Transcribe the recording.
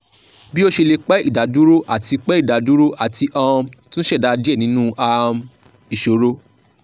bi o ṣe le pẹ idaduro ati pẹ idaduro ati um tun ṣẹda diẹ ninu um iṣoro